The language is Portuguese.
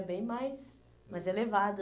bem mais mais elevado.